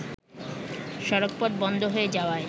সড়কপথ বন্ধ হয়ে যাওয়ায়